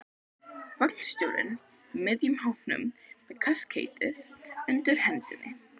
Vagnstjórinn í miðjum hópnum með kaskeitið undir hendinni.